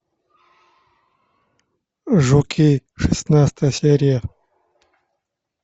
жуки шестнадцатая серия